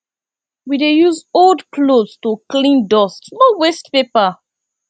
we dey use old clothes to clean dust no waste paper